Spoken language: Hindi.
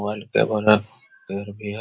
वाइट टेबल है चेयर भी है ।